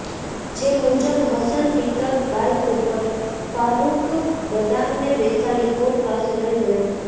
જે મુજબ હસન પીત્તળ બાઇક ઉપર ફારૃક બદામને બેસાડી કોર્ટ પાસે લઇ ગયો હતો